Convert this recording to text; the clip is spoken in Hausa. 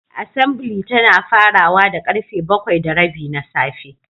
Assembly tana farawa da karfe bakwai da rabi na safe.